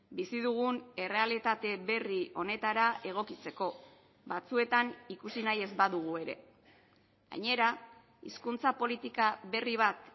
bizi dugun errealitate berri honetara egokitzeko batzuetan ikusi nahi ez badugu ere gainera hizkuntza politika berri bat